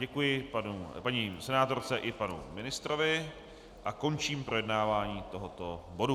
Děkuji paní senátorce i panu ministrovi a končím projednávání tohoto bodu.